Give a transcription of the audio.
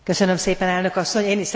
Köszönöm szépen, Elnök asszony!